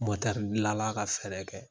gilala ka fɛɛrɛ kɛ